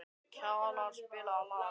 Kjalar, spilaðu lag.